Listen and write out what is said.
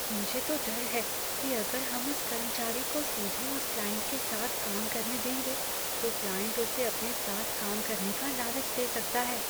मुझे तो डर है कि अगर हम उस कर्मचारी को सीधे उस क्लाइंट के साथ काम करने देंगे, तो क्लाइंट उसे अपने साथ काम करने का लालच दे सकता है।